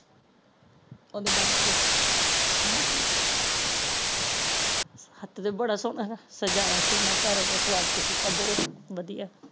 ਓਹਦੇ bed ਤੇ ਹਾਂਜੀ ਹਤ ਵੀ ਬੜਾ ਸੋਹਣਾ ਸਜਾਇਆ ਸੀ ਓਹਨਾ ਘਰ ਓਹਦਾ ਸਵਾਗਤ ਕੀਤਾ ਬਹੁਤ ਵਧਿਆ